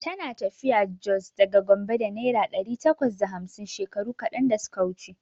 Tana tafiya Jos daga Gombe da naira ɗari takwas da hamsin shekaru kaɗan da suka wuce.